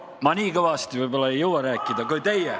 Ma nii kõvasti võib-olla ei jõua rääkida kui teie.